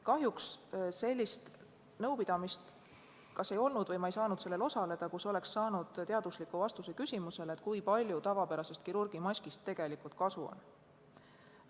Kahjuks sellist nõupidamist, kus oleks saanud teadusliku vastuse küsimusele, kui palju tavapärasest kirurgimaskist tegelikult kasu on, ei olnud või ei saanud ma sellel osaleda.